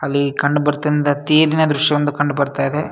ಅಲ್ ಕಂಡು ಬರ್ತಿರುವ ತೇರಿನ ದೃಶ್ಯ ಒಂದು ಕಂಡು ಬರ್ತಾ ಇದೆ.